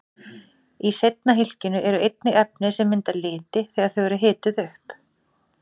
Í seinna hylkinu eru einnig efni sem mynda liti þegar þau eru hituð upp.